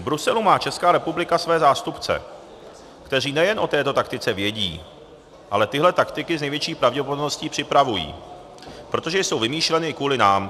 V Bruselu má Česká republika svoje zástupce, kteří nejenom o této taktice vědí, ale tyhle taktiky s největší pravděpodobností připravují, protože jsou vymýšleny kvůli nám.